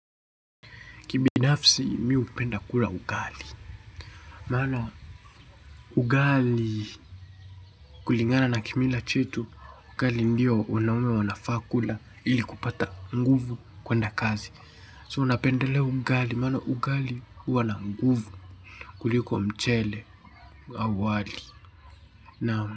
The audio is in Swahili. Kibinafsi mii upenda kula ugali. Maano ugali kulingana na kimila chetu. Ugali ndio wanaume wanafaa kula ili kupata nguvu kwenda kazi So napendelea ugali mano ugali huwana nguvu kuliko mchele awali. Naam.